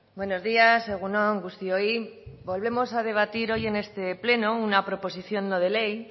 buenos días egun on guztioi volvemos a debatir hoy en este pleno una proposición no de ley